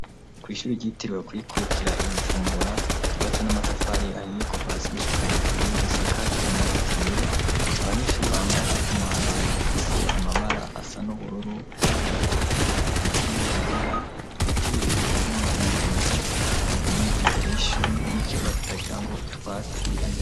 Kw'ishuri ryitirwe kwikukira i Bujumbura ryubatse n'amatafari ahiye kuva hasi gushika hejuru risakaje amabati yera, abanyeshuri bambara umwambaro ufise amabara asa n'ubururu, ayatukura, ayagomba kwera. Ibiti birebire harimwo imyembe, biri imbere y'ishuri n'ikibuga kitagira ngo utwatsi imbere.